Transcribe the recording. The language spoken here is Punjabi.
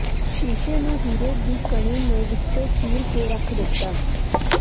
ਸ਼ੀਸ਼ੇ ਨੂੰ ਹੀਰੇ ਦੀ ਕਣੀ ਨੇ ਵਿੱਚੋਂ ਚੀਰ ਕੇ ਰੱਖ ਦਿੱਤਾ